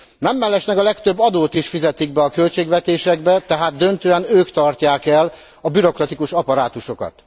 Nem mellesleg a legtöbb adót is fizetik be a költségvetésekbe, tehát döntően ők tartják el a bürokratikus apparátusokat.